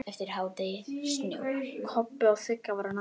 Kobbi og Sigga voru næst.